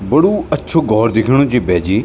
बडू अच्छू घोर दिख्यणू च भैजी।